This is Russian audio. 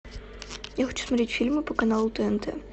я хочу смотреть фильмы по каналу тнт